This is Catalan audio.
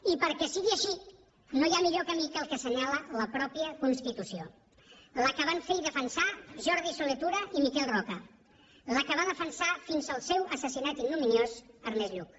i perquè sigui així no hi ha millor camí que el que assenyala la mateixa constitució la que van fer i defensar jordi solé tura i miquel roca la que va defensar fins al seu assassinat ignominiós ernest lluch